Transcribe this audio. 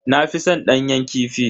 Na fi san danyen kifi.